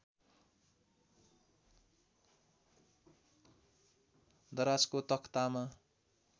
दराजको तखतामा